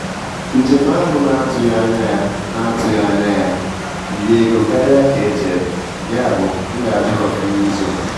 Njem ahụ na-atụghị anya ya na-atụghị anya ya riri ego karịa ka e chere, yabụ m ga-ajụ kọfị n'izu a.